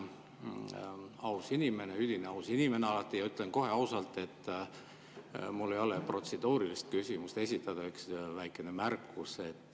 Ma olen aus inimene, alati üdini aus inimene, ja ütlen kohe ausalt, et mul ei ole protseduurilist küsimust esitada, on üks väike märkus.